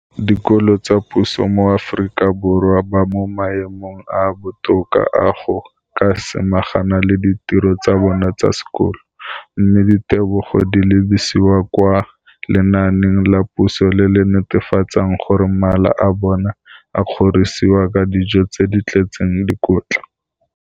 Dikolo tsa puso mo Aforika Borwa ba mo maemong a a botoka a go ka samagana le ditiro tsa bona tsa sekolo, mme ditebogo di lebisiwa kwa lenaaneng la puso le le netefatsang gore mala a bona a kgorisitswe ka dijo tse di tletseng dikotla.